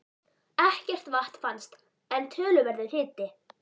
Ekkert vatn fannst, en töluverður hiti.